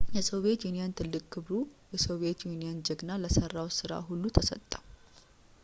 የሶቪየት ዩኒየን ትልቅ ክብር «የሶቪየት ዩኒየን ጀግና» ለሠራው ሥራ ሁሉ ተሰጠው